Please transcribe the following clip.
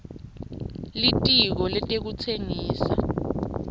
litiko letekutsengisa